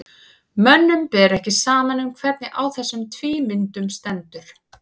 mönnum ber ekki saman um hvernig á þessum tvímyndum stendur